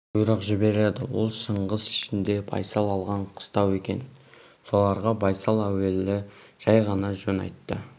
бұйрық жібереді ол шыңғыс ішінде байсал алған қыстау екен соларға байсал әуелі жай ғана жөн айтты